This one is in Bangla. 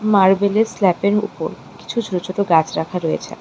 মার্বেলের স্ল্যাপের উপর কিছু ছোটো ছোটো গাছ রাখা রয়েছে।